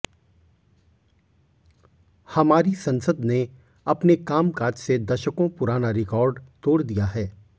हमारी संसद ने अपने कामकाज से दशकों पुराना रिकॉर्ड तोड़ दिया है